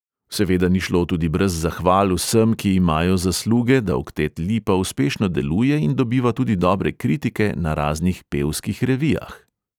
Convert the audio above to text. Seveda ni šlo tudi brez zahval vsem, ki imajo zasluge, da oktet lipa uspešno deluje in dobiva tudi dobre kritike na raznih pevskih revijah.